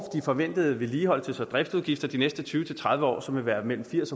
forventede vedligeholdelses og driftsudgifter de næste tyve til tredive år som vil være mellem firs